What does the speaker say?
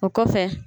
O kɔfɛ